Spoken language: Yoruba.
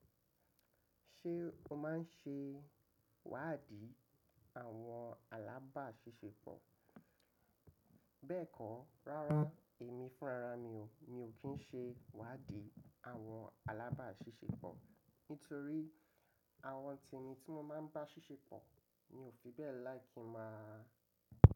Ṣé o máà ń ṣe iwádìí àwọn alábàásisẹ́pọ̀? Bẹ́ẹ̀kọ́, rárá èmi fúnra ra mi ò, mi ò kí ń ṣe iwádìí àwọn alábàásisẹ́pọ̀ nítorí àwọn tèmi ti mo máa ń bá ṣíṣe pọ̀ ni ò fi bẹ́ẹ̀ like kí máa.